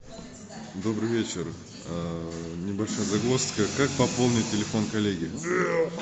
добрый вечер небольшая загвоздка как пополнить телефон коллеги